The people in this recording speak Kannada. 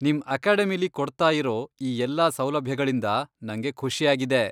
ನಿಮ್ ಅಕೆಡಮಿಲೀ ಕೊಡ್ತಾಯಿರೋ ಈ ಎಲ್ಲ ಸೌಲಭ್ಯಗಳಿಂದಾ ನಂಗೆ ಖುಷಿಯಾಗಿದೆ.